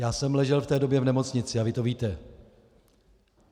Já jsem ležel v té době v nemocnici a vy to víte.